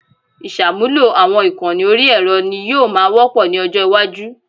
Ìṣàmúlò àwọn ìkànnì orí ẹ̀rọ ni yóò máa wọ́pọ̀ ní ọjọ́ iwájú